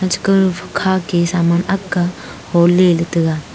cheka hukha ka saman agle holey ley taga.